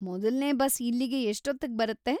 ಮೊದಲ್ನೇ ಬಸ್‌ ಇಲ್ಲಿಗೆ ಎಷ್ಟೊತ್ತಿಗ್ ಬರುತ್ತೆ?